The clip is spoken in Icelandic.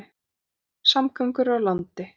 Samgöngur á landi